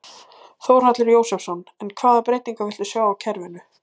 Þórhallur Jósefsson: En hvaða breytingar viltu sjá á kerfinu?